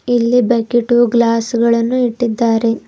ಇಲ್ಲಿ bucket glass ಗಳನ್ನು ಇಟ್ಟಿದ್ದಾರೆ.